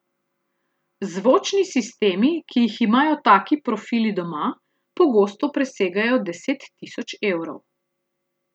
Zvočni sistemi, ki jih imajo taki profili doma, pogosto presegajo deset tisoč evrov.